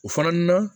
O fana na